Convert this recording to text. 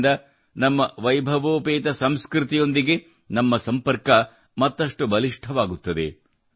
ಇದರಿಂದ ನಮ್ಮ ವೈಭವೋಪೇತ ಸಂಸ್ಕೃತಿಯೊಂದಿಗೆ ನಮ್ಮ ಸಂಪರ್ಕ ಮತ್ತಷ್ಟು ಬಲಿಷ್ಠವಾಗುತ್ತದೆ